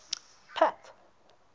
pat